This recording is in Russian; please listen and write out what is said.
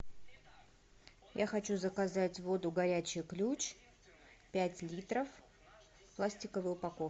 я хочу заказать воду горячий ключ пять литров в пластиковой упаковке